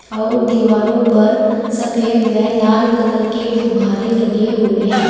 और दीवारों पर सफेद व लाल कलर के गुभ्भारे लगे हुए है।